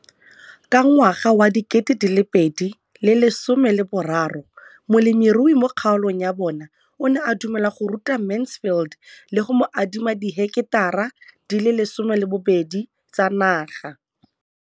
Ka ngwaga wa 2013, molemirui mo kgaolong ya bona o ne a dumela go ruta Mansfield le go mo adima di heketara di le 12 tsa naga.